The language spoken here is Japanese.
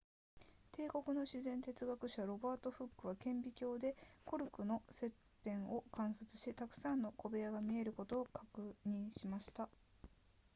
英国の自然哲学者ロバートフックは顕微鏡でコルクの切片を観察したくさんの小部屋が見えることを確認しました